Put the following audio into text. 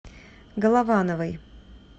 головановой